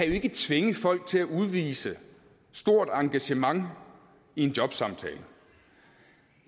ikke tvinge folk til at udvise stort engagement i en jobsamtale